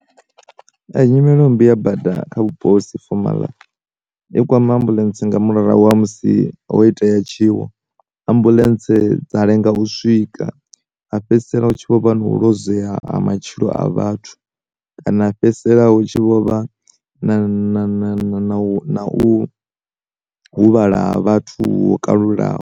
Nyimelo mmbi ya bada kha vhupo husi fomala, yo kwama ambuḽentse nga murahu ha musi ho itea tshiwo, ambuḽentse dza lenga u swika, ha fhedzisela hu tshi vho vha na u luzea ha matshilo a vhathu, kana fhedzisela hu tshi vho vha na u huvhala ha vhathu ho kalulaho.